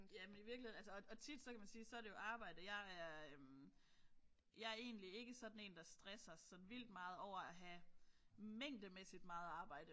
Jamen i virkeligheden altså og og tit så kan man jo sige så er det jo arbejde. Jeg er jeg er egentlig ikke sådan en der stresser så vildt meget over at have mængdemæssigt meget arbejde